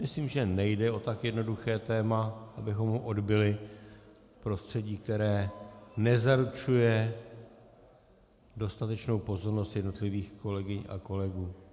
Myslím, že nejde o tak jednoduché téma, abychom ho odbyli v prostředí, které nezaručuje dostatečnou pozornost jednotlivých kolegyň a kolegů.